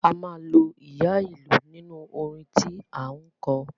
A máa lo ìyá ìlú nínú orin tí à ń kọ.